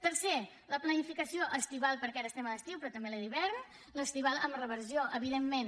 tercer la planificació estival perquè ara estem a l’estiu però també la d’hivern amb reversió evidentment